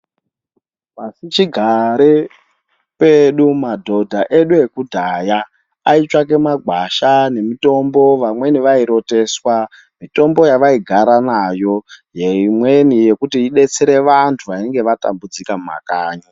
Pasichigare pedu madhodha edu ekudhaya aitsvake magwasha nemutombo vamweni vairoteswa mitombo yavaigara nayo yemweni yekuti idetsera vantu vainge vatambudzika mumakanyi